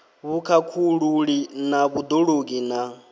vhukhakhululi na vhud ologi na